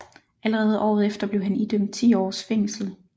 Allerede året efter blev han idømt ti åres fængsel